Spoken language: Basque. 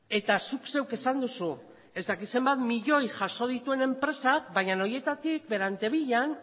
eta zuk zeuk esan duzu ez dakit zenbat milioi jaso dituen enpresak baina horietatik berantevillan